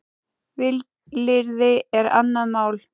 Vilyrði er annað mál.